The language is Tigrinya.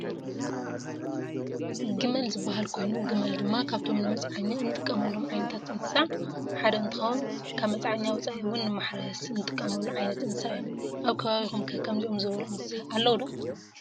ጊመል ዝብሃል ኮይኑ ጊመል ድማ ካብቶም ንመፅዓኛ እንጥቀመሎም ዓይነታት እንስሳ ሓደ እንትኸዉን ካብ መፅዓኛ ወፃኢ እዉን ንማሕረስ እንጥቀመሉ ዓይነት እንስሳ እዩ። ኣብ ከባቢኩም ከ ከምዚኦም ዘበሉ እንስሳ ኣለዉ ዶ?